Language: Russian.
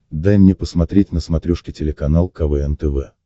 дай мне посмотреть на смотрешке телеканал квн тв